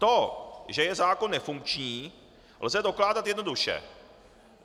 To, že je zákon nefunkční, lze dokládat jednoduše.